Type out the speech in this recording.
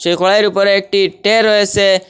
কড়াইয়ের উপরে একটি টে রয়েসে।